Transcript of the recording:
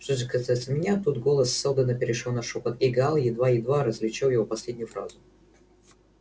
что же касается меня тут голос сэлдона перешёл на шёпот и гаал едва-едва различил его последнюю фразу